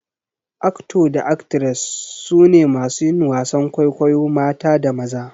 "Actor" da "Actress" su ne masu yin wasan kwaikwayo mata da maza.